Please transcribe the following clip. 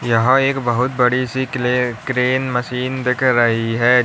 यहां एक बहोत बड़ी सी क्ले क्रेन मशीन दिख रही है।